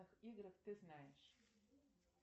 играх ты знаешь